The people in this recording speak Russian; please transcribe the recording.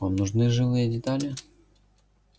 вам нужны живые детали